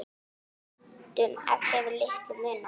Stundum hefur litlu munað.